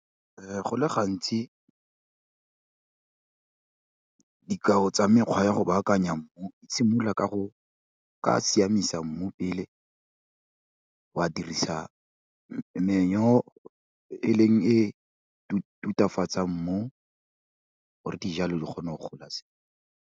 Go le gantsi dikao tsa mekgwa ya go baakanya mmu di simolola ka go, o ka siamisa mmu pele, wa dirisa manure e leng, e tutafatsang mmu o re dijalo di kgone go gola sentle.